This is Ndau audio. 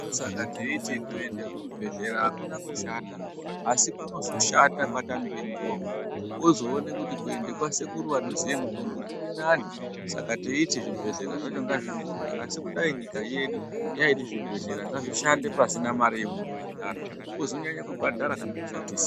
Ndosaka teiti kuende kuchibhedhlera hakuna kushata asi kunozoshata kwatamike mitombo wozoona kuti kuende kwasekuru anoziye mutombo kurinane saka teiti zvibhedhlera zvacho ngazvivhurwe asi kudai nyika yedu yaiti zvibhedhlera ngazvishande pasina mare yaunobhadhara wozonyanya kubhadhara kana zvashatisa.